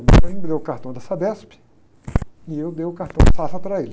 Ele foi e me deu o cartão da Sabesp e eu dei o cartão do Safra para ele.